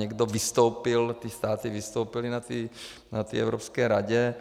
Někdo vystoupil, ty státy vystoupily na té Evropské radě,